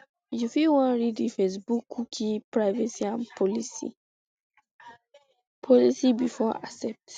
you fit wan read di facebookcookie policyandprivacy policybefore accepting